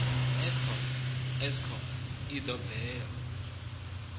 eskom eskom i ḓo bvela